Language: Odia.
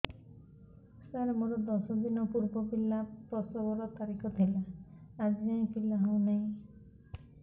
ସାର ମୋର ଦଶ ଦିନ ପୂର୍ବ ପିଲା ପ୍ରସଵ ର ତାରିଖ ଥିଲା ଆଜି ଯାଇଁ ପିଲା ହଉ ନାହିଁ